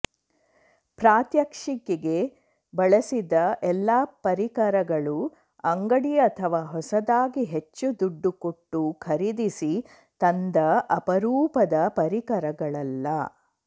ಪ್ರಾತ್ಯಕ್ಷಿಕೆಗೆ ಬಳಸಿದ ಎಲ್ಲ ಪರಿಕರಗಳೂ ಅಂಗಡಿ ಅಥವಾ ಹೊಸದಾಗಿ ಹೆಚ್ಚು ದುಡ್ಡು ಕೊಟ್ಟು ಖರೀದಿಸಿ ತಂದ ಅಪರೂಪದ ಪರಿಕರಗಳಲ್ಲ